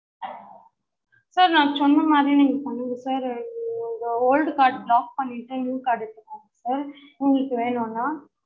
sir நா சொன்ன மாறியே நீங்க பண்ணுங்க sir old card block பண்ணிட்டு new card அ எடுத்துக்கோங்க sir உங்களுக்கு வேணும்னா